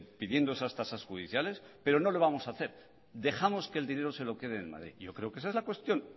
pidiendo esas tasas judiciales pero no lo vamos a hacer dejamos que el dinero se lo queden en madrid yo creo que esa es la cuestión